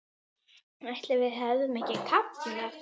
Ætli við hefðum ekki kafnað?